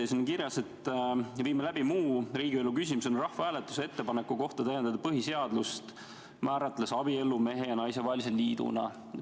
Siin on kirjas, et viime läbi muu riigielu küsimusena rahvahääletuse ettepaneku kohta täiendada põhiseadust, määratledes abielu mehe ja naise vahelise liiduna.